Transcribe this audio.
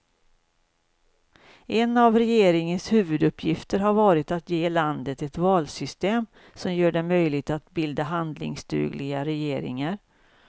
En av regeringens huvuduppgifter har varit att ge landet ett valsystem som gör det möjligt att bilda handlingsdugliga regeringar.